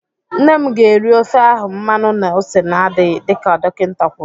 Nne m ga-eri ofe ahụ mmanụ na ose na-adịghị dịka dokịnta kwụrụ.